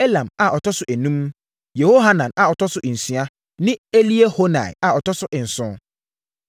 Elam a ɔtɔ so enum, Yehohanan a ɔtɔ so nsia, ne Eliehoenai a ɔtɔ so nson.